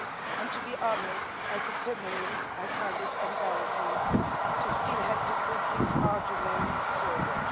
And to be honest, as a feminist, I find it embarrassing to still have to put this argument forward.